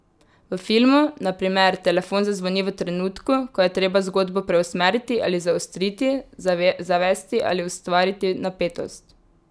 V filmu, na primer, telefon zazvoni v trenutku, ko je treba zgodbo preusmeriti ali zaostriti, zavesti ali ustvariti napetost.